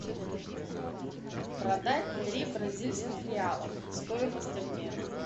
продать три бразильских реала стоимость обмена